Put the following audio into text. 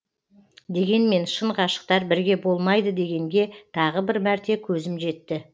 дегенмен шын ғашықтар бірге болмайды дегенге тағы бір мәрте көзім жетті